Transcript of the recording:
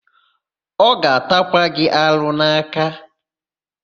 Ọ ga-atakwa gị arụ n'aka.